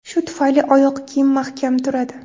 Shu tufayli oyoq kiyim mahkam turadi.